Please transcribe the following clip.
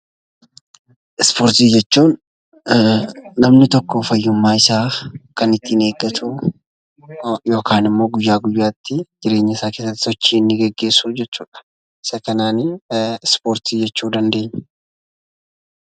Ispoortii jechuun namni tokko fayyummaa isaa kan ittiin eeggatuu yokaan immoo guyyaa guyyaattii jireenyasaa keessatti sochii inni geggeessuu jechuudha. Isa kanaanii ispoortii jechuu dandeenya.